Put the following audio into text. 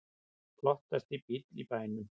Flottasti bíll í bænum